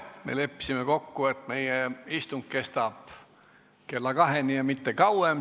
Me leppisime kokku, et meie istung kestab kella kaheni ja mitte kauem.